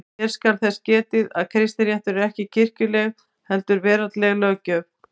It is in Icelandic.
Hér skal þess getið að kristinréttur er ekki kirkjuleg heldur veraldleg löggjöf.